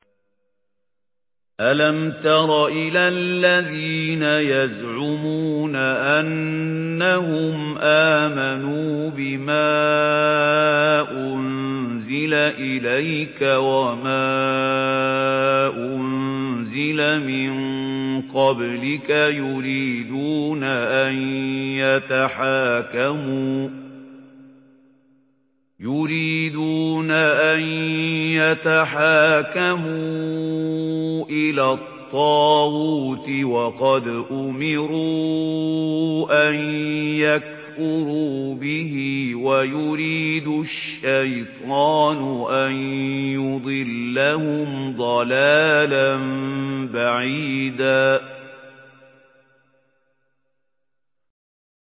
أَلَمْ تَرَ إِلَى الَّذِينَ يَزْعُمُونَ أَنَّهُمْ آمَنُوا بِمَا أُنزِلَ إِلَيْكَ وَمَا أُنزِلَ مِن قَبْلِكَ يُرِيدُونَ أَن يَتَحَاكَمُوا إِلَى الطَّاغُوتِ وَقَدْ أُمِرُوا أَن يَكْفُرُوا بِهِ وَيُرِيدُ الشَّيْطَانُ أَن يُضِلَّهُمْ ضَلَالًا بَعِيدًا